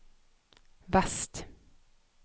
vest